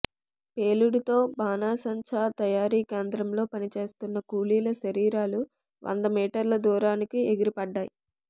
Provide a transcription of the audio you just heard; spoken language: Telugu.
పేలుడుతో బాణసంచా తయారీ కేంద్రంలో పనిచేస్తున్న కూలీల శరీరాలు వందమీటర్ల దూరానికి ఎగిరిపడ్డాయి